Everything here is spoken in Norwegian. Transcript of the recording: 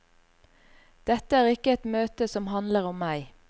Dette er ikke et møte som handler om meg.